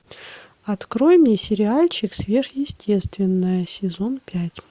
открой мне сериальчик сверхъестественное сезон пять